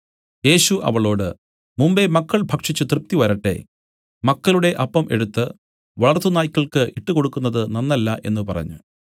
യേശു അവളോട് മുമ്പെ മക്കൾ ഭക്ഷിച്ചു തൃപ്തി വരട്ടെ മക്കളുടെ അപ്പം എടുത്തു വളർത്തുനായ്ക്കൾക്ക് ഇട്ടുകൊടുക്കുന്നത് നന്നല്ല എന്നു പറഞ്ഞു